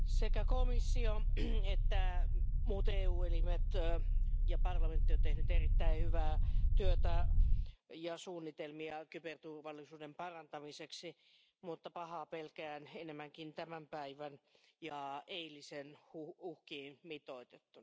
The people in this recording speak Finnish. Arvoisa puhemies, sekä komissio että muut EU elimet ja parlamentti ovat tehneet erittäin hyvää työtä ja suunnitelmia kyberturvallisuuden parantamiseksi mutta pahoin pelkään enemmän tämän päivän ja eilisen uhkiin mitoitettuna.